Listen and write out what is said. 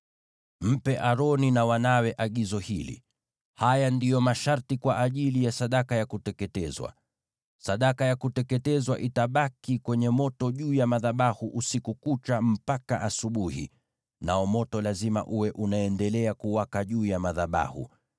“Mpe Aroni na wanawe agizo hili: ‘Haya ndiyo masharti kwa ajili ya sadaka ya kuteketezwa: Sadaka ya kuteketezwa itabaki kwenye moto juu ya madhabahu usiku kucha, mpaka asubuhi, nao moto lazima uwe unaendelea kuwaka juu ya madhabahu.